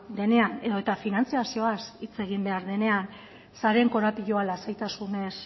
denean edota finantzazioaz hitz egin behar denean sareen korapiloa lasaitasunez